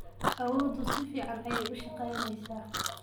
Awooddu si fiican ayay u shaqaynaysaa.